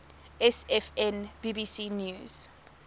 sfn bbc news